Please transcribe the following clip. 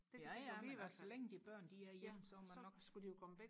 jaja men altså så længe de børn de er hjemme så er man nok også